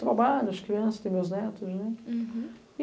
Trabalho, as crianças, tenho os meus netos, né? Uhum